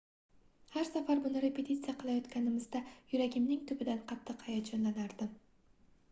har safar buni repetitsiya qilayotganimizda yuragimning tubidan qattiq hayajonlanardim